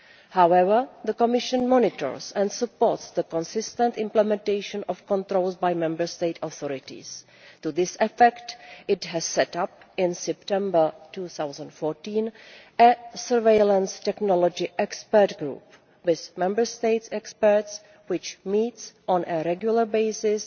However, the Commission monitors and supports the consistent implementation of the controls by Member State authorities. To that effect it set up in September 2014 a surveillance technology expert group with Member State experts, which has been meeting on a regular basis